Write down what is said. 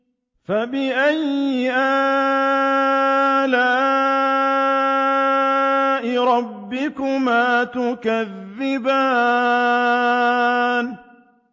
فَبِأَيِّ آلَاءِ رَبِّكُمَا تُكَذِّبَانِ